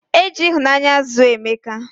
Eji ihunanya zuo emeka